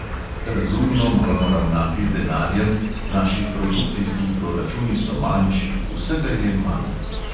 Razumno moramo ravnati z denarjem, naši produkcijski proračuni so manjši, vsega je manj.